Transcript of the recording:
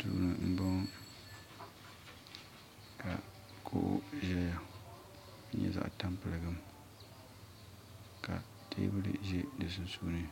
Duuni m boŋɔ ka kuɣu ʒɛya n nyɛ zaɣa tampiligim ka teebuli ʒɛ di sunsuuni